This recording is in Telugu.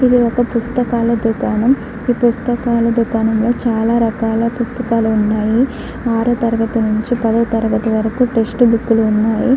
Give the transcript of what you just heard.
ఇది ఒక పుస్తకాల దుకాణం. ఈ పుస్తకాల దుకాణాల్లో చాలా రకాల పుస్తకాలు ఉన్నాయి. ఆరో తరగతి నుంచి పదో తరగతి వరకు టెక్స్ట్ బుక్ లు ఉన్నాయి.